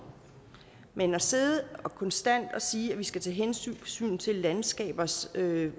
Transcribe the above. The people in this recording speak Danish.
men at sidde konstant og sige at vi skal tage hensyn til landskabernes